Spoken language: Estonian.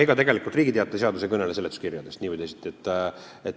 Aga ega Riigi Teataja seadus nii või teisiti ei kõnele seletuskirjadest.